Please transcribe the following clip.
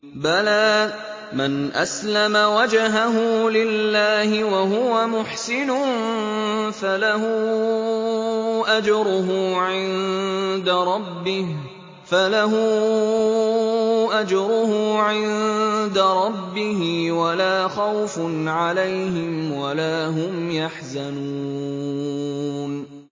بَلَىٰ مَنْ أَسْلَمَ وَجْهَهُ لِلَّهِ وَهُوَ مُحْسِنٌ فَلَهُ أَجْرُهُ عِندَ رَبِّهِ وَلَا خَوْفٌ عَلَيْهِمْ وَلَا هُمْ يَحْزَنُونَ